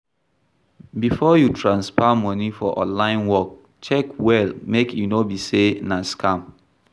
Before you transfer money for online work check well make e no be sey na scam